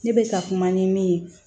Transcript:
Ne bɛ ka kuma ni min ye